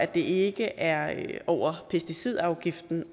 det ikke er over pesticidafgiften